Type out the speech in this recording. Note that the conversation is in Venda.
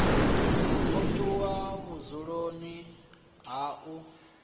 o tshuwa vhudzuloni ha u